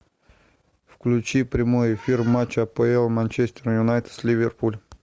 включи прямой эфир матча апл манчестер юнайтед с ливерпуль